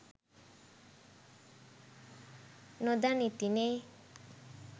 නොදනිති නෙ